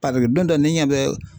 don dɔ ne ɲɛ bɛ